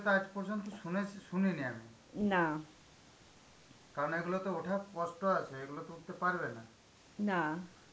আজ পর্যন্ত শুনেছে~ শুনিনি আমি. কারণ এগুলো তো ওঠার কষ্ট আছে. এগুলো তো উঠতে পারবে না.